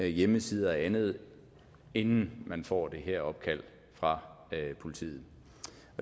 hjemmesider og andet inden man får det her opkald fra politiet